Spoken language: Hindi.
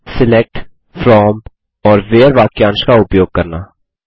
सिलेक्ट फ्रॉम और व्हेरे वाक्यांश का उपयोग करना